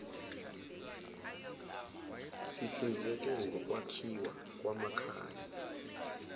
sihlinzeke ngokwakhiwa kwamakhaya